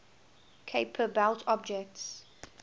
kuiper belt objects